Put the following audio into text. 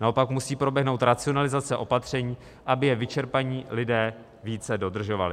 Naopak, musí proběhnout racionalizace opatření, aby je vyčerpaní lidé více dodržovali.